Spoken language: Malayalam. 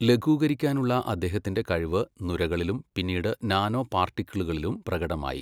ലഘൂകരിക്കാനുള്ള അദ്ദേഹത്തിന്റെ കഴിവ് നുരകളിലും പിന്നീട് നാനോപാർട്ടിക്കിളുകളിലും പ്രകടമായി.